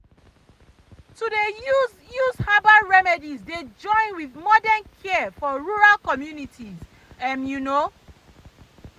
to dey use use herbal remedies dey join with modern care for rural communities um you know.